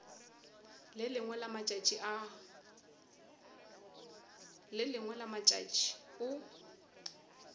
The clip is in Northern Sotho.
le lengwe la matšatši o